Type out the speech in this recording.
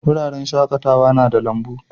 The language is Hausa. Wuraren shakatawa na da lambu.